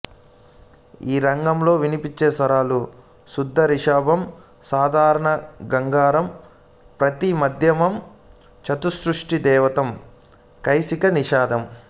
ఈ రాగంలో వినిపించే స్వరాలు శుద్ధ రిషభం సాధారణ గాంధారం ప్రతి మధ్యమం చతుశృతి ధైవతం కైశికి నిషాధం